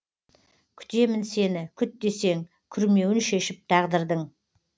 күтемін сені күт десең күрмеуін шешіп тағдырдың